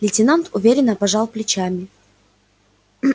лейтенант уверенно пожал плечами